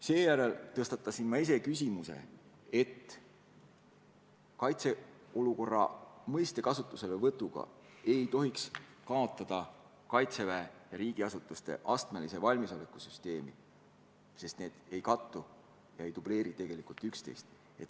Seejärel tõstatasin mina teema, et kaitseolukorra mõiste kasutuselevõtuga ei tohiks kaotada Kaitseväe ja riigiasutuste astmelise valmisoleku süsteemi, sest need ei kattu ega dubleeri üksteist.